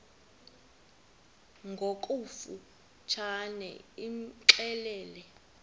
ngokofu tshane imxelele